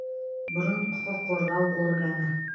бұрын құқық қорғау органы